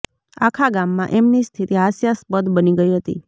આખા ગામમાં એમની સ્થિતિ હાસ્યાસ્પદ બની ગઇ હતી